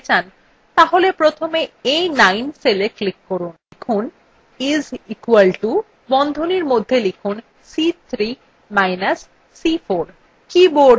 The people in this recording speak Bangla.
লিখুন is equal to এবং বন্ধনীর মধ্যে সংশ্লিষ্ট সেলদুটির নাম অর্থাৎ c3 minus c4